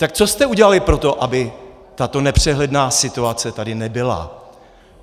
Tak co jste udělali pro to, aby tato nepřehledná situace tady nebyla?